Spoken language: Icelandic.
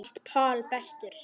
Honum fannst Paul bestur.